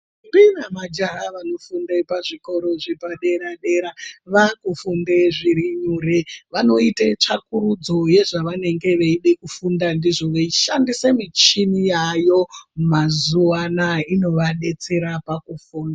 Ndombi nemajaha vanofunda pazvikoro zvepadera dera vakufunde zviri nyore. Vanoite tsvakiridzo yezvavanenge veida kufunda ndizvo veishandisa michini yaayo mazuva anaya inovadetsera pakufunda.